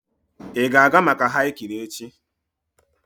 Ị ga-aga maka hiking echi?